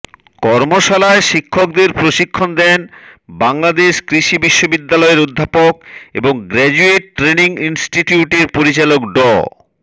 কর্মশালায় শিক্ষকদের প্রশিক্ষণ দেন বাংলাদেশ কৃষি বিশ্ববিদ্যালয়ের অধ্যাপক এবং গ্রাজুয়েট ট্রেনিং ইনস্টিটিউটের পরিচালক ড